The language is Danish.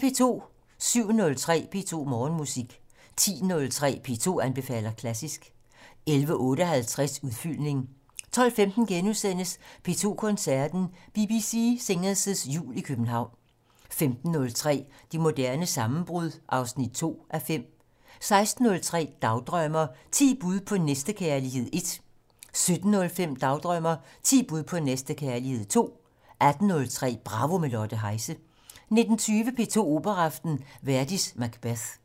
07:03: P2 Morgenmusik 10:03: P2 anbefaler klassisk 11:58: Udfyldning 12:15: P2 Koncerten - BBC Singers' Jul i København * 15:03: Det moderne sammenbrud 2:5 16:03: Dagdrømmer: Ti bud på næstekærlighed 1 17:05: Dagdrømmer: Ti bud på næstekærlighed 2 18:03: Bravo - med Lotte Heise 19:20: P2 Operaaften - Verdi: Macbeth